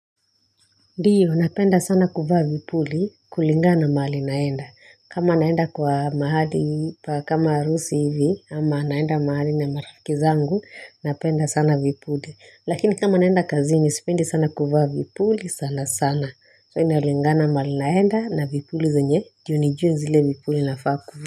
Ndiyo napenda sana kuvaa vipuli kulingana mahali naenda kama naenda kwa mahali pa kama harusi hivi ama naenda mahali na marafiki zangu napenda sana vipuli lakini kama naenda kazini sipendi sana kuvaa vipuli sana sana so inalingana mahali naenda na vipuli zenye juu nijue zile vipuli nafaa kuvaa.